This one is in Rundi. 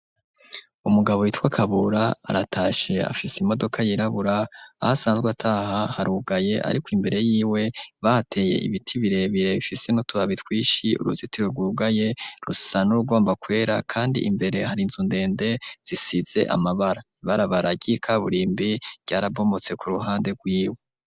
Umugabo yitwa Kabura aratashe afise imodoka yirabura ahasanzwe ataha harugaye ,ariko imbere yiwe bateye ibiti birebire bifise n'utubabi twinshi ,uruzitiro rwugaye rusa n'urugomba kwera kandi imbere hari inzu ndende zisize amabara ,ibarabara ry'ikaburimbi ryarabomotse ku ruhande rwiwe.